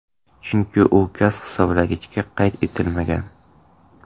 Chunki u gaz hisoblagichda qayd etilmagan.